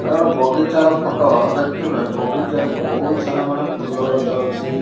ନାଁ ଗୋଟେ ବଗିଚାର ଫଟ ଦେଖୁଥିବେ ବଗିଚାରେ ବୋହୁତ୍ ସାରା ମାନେ ଫୁଲ ଗଛ ଅଛି।